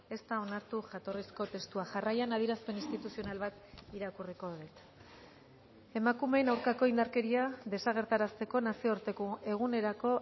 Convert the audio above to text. ez da onartu jatorrizko testua jarraian adierazpen instituzional bat irakurriko dut emakumeen aurkako indarkeria desagerrarazteko nazioarteko egunerako